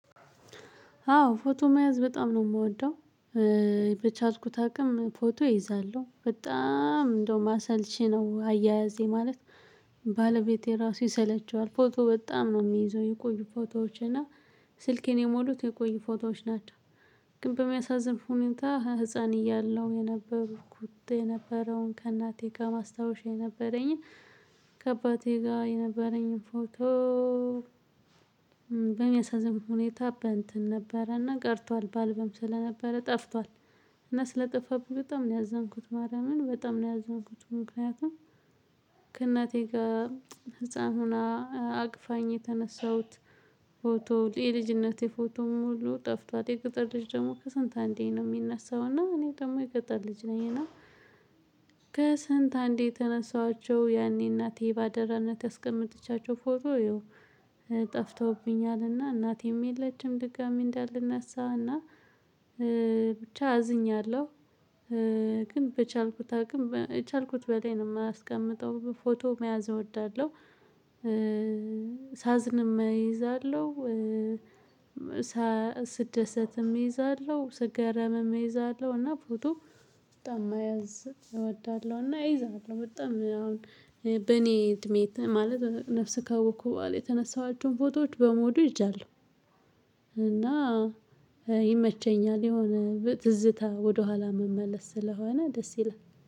አዎ ፎቶ መያዝ በጣም ነው የምወደው። በቻዝኩት አቅም ፎቶ እይዛለሁ በጣም እንደውም አሰልቺ ነው አያያዜ ማለት። ባለቤቴ ራሱ ይሰለቸዋል ፎቶ በጣም ነው የሚይዘው የቆዩ ፎቶዎች እና ስልኬን ሞሉት የቆዩ ፎቶዎች ናቸው። ግን በሚያሳዝን ሁኔንታ ህፃን እያለሁ የነበርኩት የነበረውን ከእናቴ ጋር ማስታወሻ የነበረኝን ጋር የነበረኝ ፎቶ። በሚያሳዝን ሁኔታ በእንትን ነበረና ቀርቷል በአልበም ስለነበረ ጠፍቷል። እና ስለጠፋብኝ በጣም ነው ያዘንኩት ማርያምን በጣም ነው ያዝንኩት። ምክንያቱም ከእናቴ ጋር ህፃን ሆና አቅፋኝ የተነሳሁት ፎቶ የልጅነቴ ፎቶ ሙሉ ጠፍቷል። የገጠር ልጅ ደግሞ ከስንት አንዴ ነው የሚነሳው። እና እኔ ደግሞ የገጠር ልጅ ነኝ። እና ከስንት አንዴ የተነሳኋቸው ያኔ እናቴ ባደራነት ያስቀመጠቻቸው ፎቶ ይኸው ጠፍተውብኛልና እናቴም የለችም ድጋሚ እንዳልነሳው እና ብቻ አዝኛለሁ። ግን በቻልኩት አቅም የቻልኩት በላይ ነው የማስቀምጠው ፎቶ መያዝ እወዳለሁ። ሳዝንም እይዛለሁ። ስደሰትም እይዛለሁ ስገረምም እይዛለሁ እና ፎቶ በጣም መያዝ እወዳለሁ። እና እይዛለሁ በጣም አሁን በእኔ እድሜ ማለት ነፍስ ካወቅኩ በኋላ የተነሳኋቸውን ፎቶዎች በመውዱ ይዣለው እና ይመቸኛል። የሆነ ትዝታ ወደኋላ መመለስ ስለሆነ ደስ ይላል።